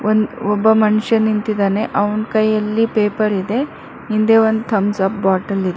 ಈ ಒಬ್ಬ ಮನುಷ್ಯ ನಿಂತಿದ್ದಾನೆ ಅವ್ನ್ ಕೈಯಲ್ಲಿ ಪೇಪರ್ ಇದೆ ಹಿಂದೆ ಒಂದ್ ಥಂಬ್ಸ್ ಅಪ್ ಬಾಟಲ್ ಇದ್--